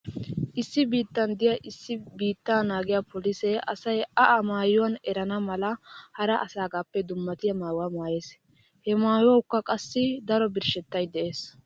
Issi biittan diya issi biittaa naagiya polisee asay a a maayuwan erana mala hara asaagaappe dummatiya maayuwa maayees. He maayuwawukka qassi daro birshshettay dees.